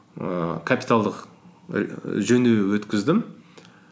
ііі капиталдық жөндеу өткіздім